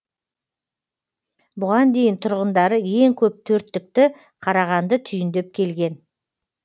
бұған дейін тұрғындары ең көп төрттікті қарағанды түйіндеп келген